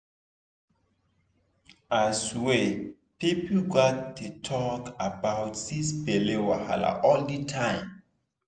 i swear people gats dey talk about this belle wahala all the time